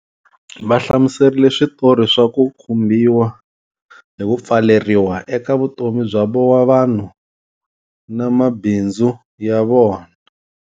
Va hlamuserile switori swa ku khumbhiwa hi ku pfaleriwa eka vutomi bya vanhu na mabindzu ya vona.